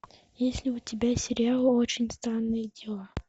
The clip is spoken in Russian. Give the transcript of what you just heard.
есть ли у тебя сериал очень странные дела